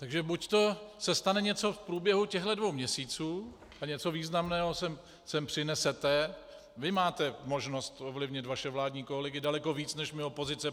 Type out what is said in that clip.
Takže buďto se stane něco v průběhu těchto dvou měsíců a něco významného sem přinesete - vy máte možnost ovlivnit vaše vládní kolegy daleko víc než my, opozice.